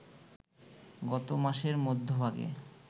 গত মাসের মধ্যভাগে